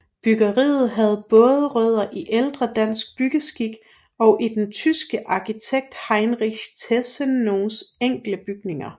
Byggeriet havde både rødder i ældre dansk byggeskik og i den tyske arkitekt Heinrich Tessenows enkle bygninger